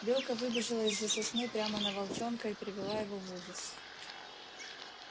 белка выбежала из-за сосны прямо на волчонка и привела его в ужас